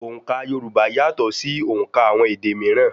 Òǹkà Yorùbá yàtọ̀ ṣì òùnkà àwọn èdè míírán.